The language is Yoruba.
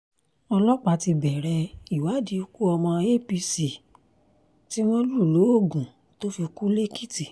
ọlọ́pàá ti bẹ̀rẹ̀ ìwádìí ikú ọmọ apc tí wọ́n lù lóògùn tó fi kú lẹ́èkìtì